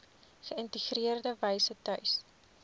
geïntegreerde wyse tuis